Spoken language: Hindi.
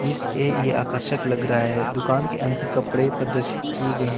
इसलिए ये आकर्षक लग रहा हैं दुकान के अन्दर कपड़े प्रदर्शित किए गए हैं।